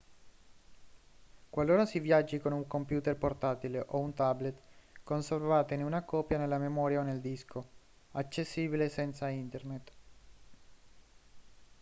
qualora si viaggi con un computer portatile o un tablet conservatene una copia nella memoria o nel disco accessibile senza internet